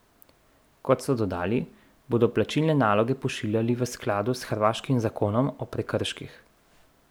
Kot so dodali, bodo plačilne naloge pošiljali v skladu s hrvaškim zakonom o prekrških.